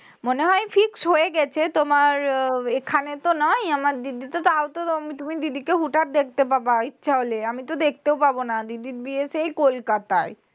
মনে হয় fixed হয়ে গেছে। তোমার আহ এখানে তো নয় আমার দিদি তো তাউতো তুমি দিদি কে হুট-হাট দেখতে পাবাই। চলে আমি তো দেখতেও পাবো না দিদির বিয়ে সেই কোলকাতাই।